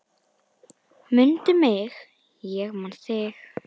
Mundu mig, ég man þig